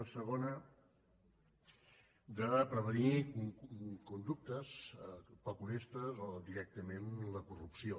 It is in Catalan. un segon de prevenir conductes poc honestes o directament la corrupció